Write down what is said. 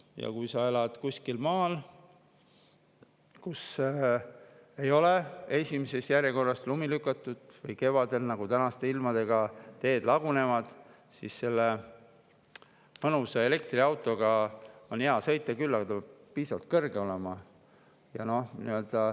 Ja kui sa elad kuskil maal, kus ei ole esimeses järjekorras lumi lükatud või kevadel, nagu tänaste ilmadega, teed lagunevad, siis mõnusa elektriautoga on hea sõita küll, aga see peab piisavalt kõrge olema.